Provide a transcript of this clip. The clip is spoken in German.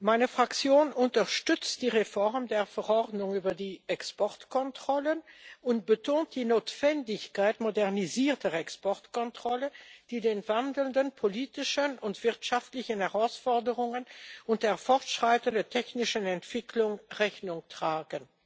Meine Fraktion unterstützt die Reform der Verordnung über die Exportkontrollen und betont die Notwendigkeit modernisierter Exportkontrollen, die den sich wandelnden politischen und wirtschaftlichen Herausforderungen und der fortschreitenden technischen Entwicklung Rechnung tragen.